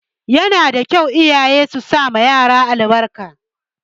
Yana da kyau iyaye su sama yaran su albarka